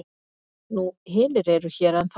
Nú hinir eru hér ennþá.